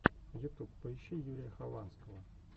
ютуб поищи юрия хованского